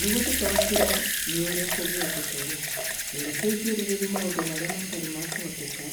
Nĩguo tũtaũkĩrũo nĩ ũrĩa kũngĩhoteka-rĩ, rekei twarĩrĩrie maũndũ marĩa matarĩ ma kũhoteka